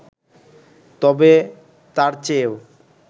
তবে, তার চেয়েও